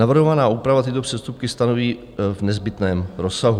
Navrhovaná úprava tyto přestupky stanoví v nezbytném rozsahu.